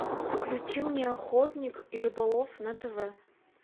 включи мне охотник и рыболов на тв